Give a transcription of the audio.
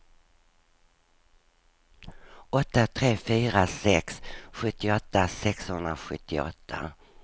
åtta tre fyra sex sjuttioåtta sexhundrasjuttioåtta